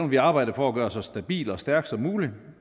vi arbejde på at gøre så stabil og stærk som muligt